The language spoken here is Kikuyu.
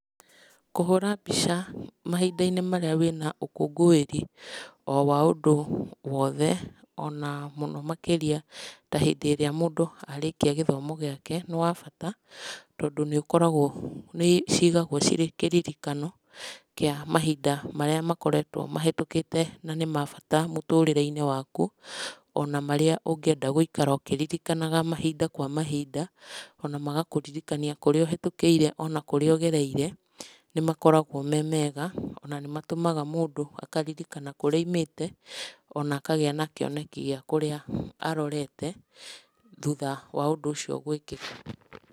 Kũhũra mbica mahinda-inĩ marĩa wĩna ũkũngũĩri o wa ũndũ o wothe ona mũno makĩria ta hindĩ ĩrĩa mũndũ arĩkia gĩthomo gĩake. Nĩ wa bata, tondũ nĩ ũkoragwo, nĩ cigagwo cirĩ kĩririkano kĩa mahinda marĩa makoretwo mahetũkĩte na nĩ mabata mũtũrĩre-inĩ waku, ona marĩa ũkĩririkanaga mahinda kwa mahinda, ona magakũririkania kũrĩa ũhetũkĩire kana ũgereire, nĩ makoragwo me mega. Ona nĩ matũmaga mũndũ akaririkana kũrĩa aumĩte, ona akagĩa na kĩoneki gĩa kũrĩa arorete, thutha wa ũndũ ũcio gũĩkĩka.